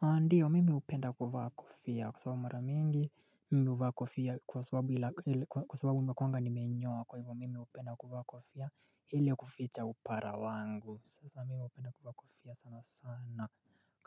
Andiyo mimi upenda kuvaa kofia kwa sababu mara mingi mimi upenda huvaa kofia kwa sababu nakuwanga nimeinyoa kwa hivyo mimi upenda kuvaa kofia hile kuficha upara wangu sasa mimi upenda kuvaa kofia sana sana.